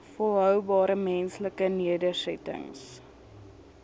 volhoubare menslike nedersettings